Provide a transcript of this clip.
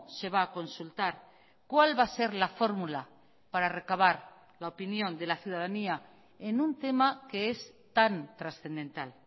se va a consultar cuál va a ser la fórmula para recabar la opinión de la ciudadanía en un tema que es tan trascendental